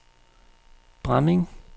Bramming